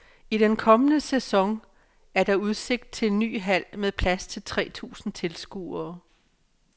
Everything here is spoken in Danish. I den kommende sæson er der udsigt til en ny hal med plads til tre tusind tilskuere.